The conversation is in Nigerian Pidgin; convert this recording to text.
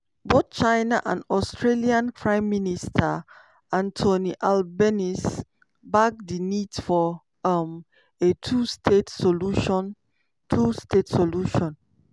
bothchina and australianprime minister anthony albanese back di need for um a two-state solution. two-state solution.